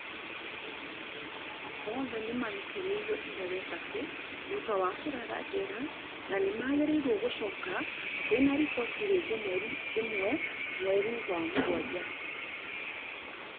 Othe nimararekereirio ira wetatũ thutha wa kũrara njera na nĩmagĩrĩirwo gũcoka kuena riboti rĩngĩ mweri ĩmwe mweri wa mũgwanja